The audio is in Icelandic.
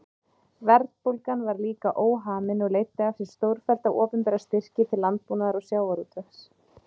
Verðbólgan var líka óhamin og leiddi af sér stórfellda opinbera styrki til landbúnaðar og sjávarútvegs.